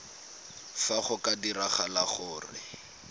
fa go ka diragala gore